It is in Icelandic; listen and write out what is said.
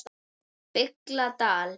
BILLA DAL